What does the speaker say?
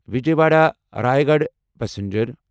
Vijayawada Rayagada passenger